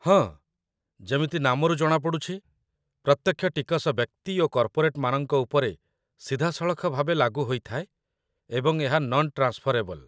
ହଁ, ଯେମିତି ନାମରୁ ଜଣାପଡ଼ୁଛି, ପ୍ରତ୍ୟକ୍ଷ ଟିକସ ବ୍ୟକ୍ତି ଓ କର୍ପୋରେଟ୍‌ମାନଙ୍କ ଉପରେ ସିଧାସଳଖ ଭାବେ ଲାଗୁ ହୋଇଥାଏ ଏବଂ ଏହା ନନ୍ ଟ୍ରାନ୍‌ସ୍‌ଫରେବଲ୍।